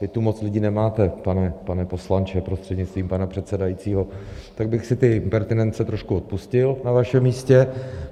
Vy tu moc lidí nemáte, pane poslanče, prostřednictvím pana předsedajícího, tak bych si ty impertinence trošku odpustil na vašem místě.